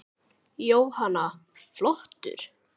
Jóhanna: Flottur?